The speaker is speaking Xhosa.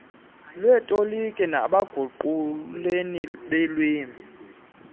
lweetoliki nabaguquleli beelwimi